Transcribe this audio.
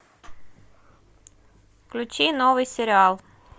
включи новый сериал